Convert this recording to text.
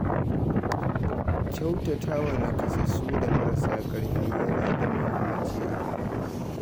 Kyautata wa nakasassu da marasa ƙarfi yana da muhimmanci a rayuwa.